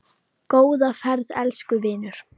Góða ferð, elsku vinur.